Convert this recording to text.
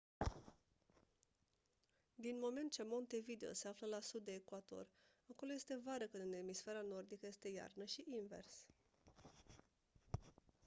din moment ce montevideo se află la sud de ecuator acolo este vară când în emisfera nordică este iarnă și invers